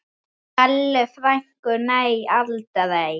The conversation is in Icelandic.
Bellu frænku, nei aldrei.